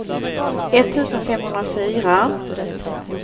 etttusen femhundrafyra